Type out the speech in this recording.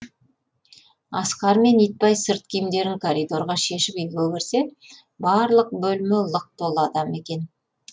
асқар мен итбай сырт киімдерін коридорға шешіп үйге кірсе барлық бөлме лық толы адам екен